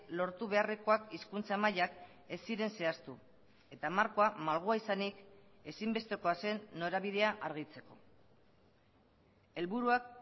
lortu beharrekoak hizkuntza mailak ez ziren zehaztu eta markoa malgua izanik ezinbestekoa zen norabidea argitzeko helburuak